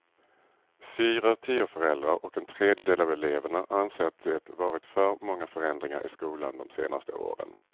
Fyra av tio föräldrar och en tredjedel av eleverna anser att det varit för många förändringar i skolan de senaste åren.